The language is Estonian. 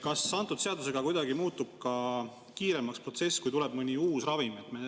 Kas antud seadusega kuidagi muutub ka kiiremaks see protsess, kui tuleb mõni uus ravim?